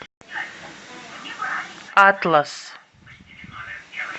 атлас